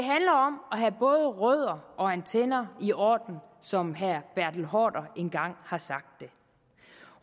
have både rødder og antenner i orden som herre bertel haarder engang har sagt en